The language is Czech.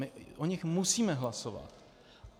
My o nich musíme hlasovat.